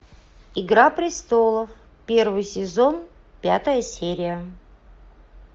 игра престолов первый сезон пятая серия